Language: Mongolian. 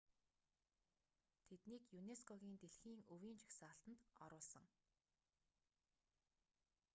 тэднийг юнеско-гийн дэлхийн өвийн жагсаалтанд оруулсан